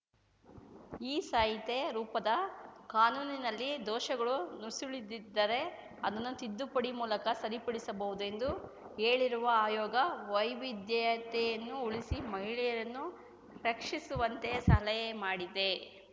ಈ ಸಹಿತೆ ರೂಪದ ಕಾನೂನಿನಲ್ಲಿ ದೋಷಗಳು ನುಸುಳದಿದ್ದರೆ ಅದನ್ನು ತಿದ್ದುಪಡಿ ಮೂಲಕ ಸರಿಪಡಿಸಬಹುದು ಎಂದು ಹೇಳಿರುವ ಆಯೋಗ ವೈವಿಧ್ಯತೆಯನ್ನು ಉಳಿಸಿ ಮಹಿಳೆಯರನ್ನು ರಕ್ಷಿಸುವಂತೆ ಸಲಹೆ ಮಾಡಿದೆ